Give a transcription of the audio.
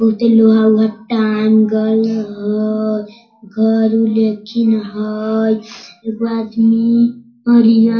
बहुते लोहा उहा टाँगल हेय घर उर लेकिन हेय एगो आदमी करिया --